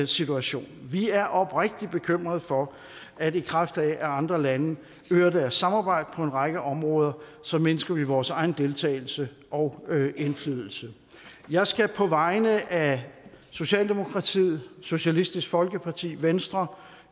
situation vi er oprigtigt bekymret for at i kraft af at andre lande øger deres samarbejde på en række områder så mindsker vi vores egen deltagelse og indflydelse jeg skal på vegne af socialdemokratiet socialistisk folkeparti venstre